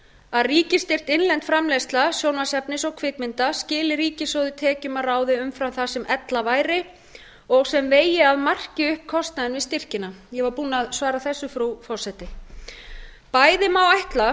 að ríkisstyrkt innlend framleiðsla sjónvarpsefnis og kvikmynd skili ríkissjóði tekjum að ráði umfram það sem ella væri og sem vegi að marki upp kostnaðinn við styrkina ég var búin að svara þessu frú forseti bæði